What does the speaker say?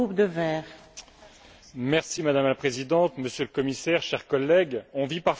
Madame la Présidente, Monsieur le Commissaire, chers collègues, on vit parfois dans ce Parlement des choses étonnantes.